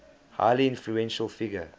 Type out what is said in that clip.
highly influential figure